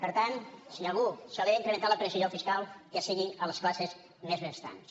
per tant si a algú se li ha d’incrementar la pressió fiscal que sigui a les classes més benestants